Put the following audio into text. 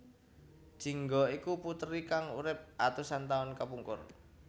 Jingga iku puteri kang urip atusan taun kapungkur